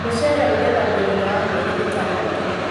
Mũshele ũgethagwo thutha wa mĩeri ĩtandatũ